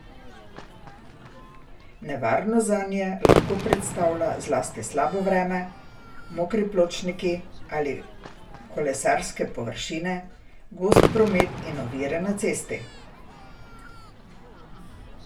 Nevarnost zanje lahko predstavlja zlasti slabo vreme, mokri pločniki ali kolesarske površine, gost promet in ovire na cesti.